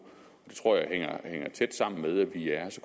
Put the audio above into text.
det tror jeg hænger tæt sammen med at vi